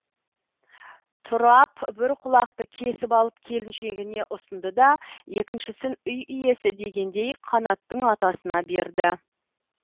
тұрап бір құлақты кесіп алып келіншегіне ұсынды да екіншісін үй иесі дегендей қанаттың атасына берді